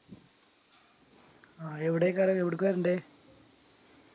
അഹ് എവിടേക്കാണ് എവിടുക്ക വരണ്ടേ